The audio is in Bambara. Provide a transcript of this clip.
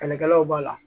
Kɛlɛkɛlaw b'a la